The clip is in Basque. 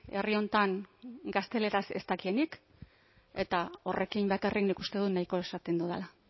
herri honetan gazteleraz ez dakienik eta horrekin bakarrik nik uste dut nahiko esaten dudala